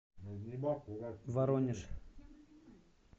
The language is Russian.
воронеж